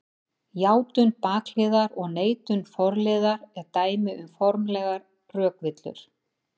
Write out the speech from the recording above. Játun bakliðar og neitun forliðar eru dæmi um formlegar rökvillur.